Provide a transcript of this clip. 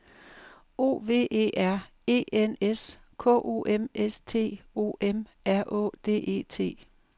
O V E R E N S K O M S T O M R Å D E T